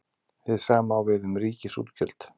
Hið sama á við um ríkisútgjöld.